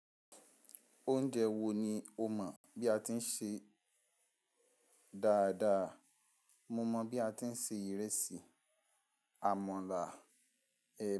Oúnjẹ wo ni o mọ̀ bí a ti ń ṣe dáadáa? Mo mọ bí a ti ń ṣe ìrẹsì, àmàlà, èbá.